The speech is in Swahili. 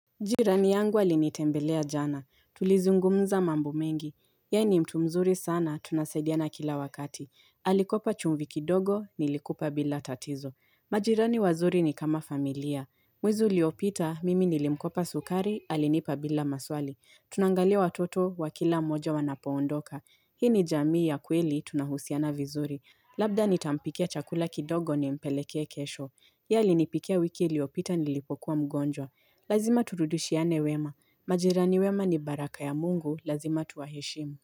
Jirani yangu alinitembelea jana. Tulizungumza mambu mengi. Yeye ni mtu mzuri sana, tunasaidiana kila wakati. Alikopa chumvi kidogo, nilikupa bila tatizo. Majirani wazuri ni kama familia. Mwezi uliopita, mimi nilimkopa sukari; alinipa bila maswali. Tunaangalia watoto, wakila mmoja wanapoondoka. Hii ni jamii ya kweli, tunahusiana vizuri. Labda nitampikia chakula kidogo nimpelekee kesho. Yeye alinipikia wiki iliyopita nilipokuwa mgonjwa. Lazima turudushiane wema, majirani wema ni baraka ya Mungu, lazima tuwaheshimu.